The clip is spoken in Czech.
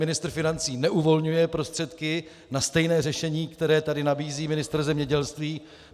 Ministr financí neuvolňuje prostředky na stejné řešení, které tady nabízí ministr zemědělství.